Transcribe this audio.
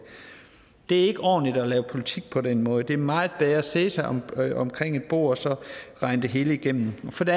det er ikke ordentligt at lave politik på den måde det er meget bedre at sætte sig omkring omkring et bord og så regne det hele igennem for det